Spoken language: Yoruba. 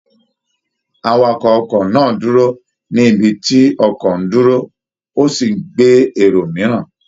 Awakọ̀ ọkọ̀ náà dúró ní ibi tí ọkọ̀ ń dúró, ó sì gbé èrò mìíràn